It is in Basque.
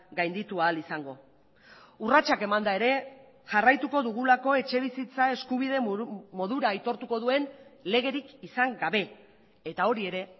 gainditu ahal izango urratsak emanda ere jarraituko dugulako etxebizitza eskubide modura aitortuko duen legerik izan gabe eta hori ere